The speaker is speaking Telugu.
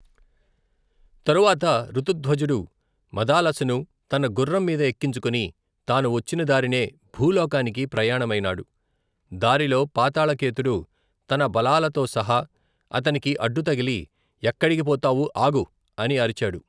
తరువాత ఋతుధ్వజుడు, మదాలసను తన గుర్రం మీద ఎక్కించుకొని తాను వచ్చిన దారినే, భూలోకానికి ప్రయాణమైనాడు దారిలో పాతాళకేతుడు, తన బలాలతోసహా అతనికి అడ్డుతగిలి ఎక్కడికి పోతావు ఆగు, అని అరిచాడు.